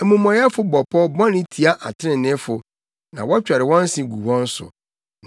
Amumɔyɛfo bɔ pɔw bɔne tia atreneefo na wɔtwɛre wɔn se gu wɔn so;